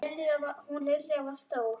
Hún Lilja var stór.